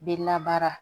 Bɛ labaara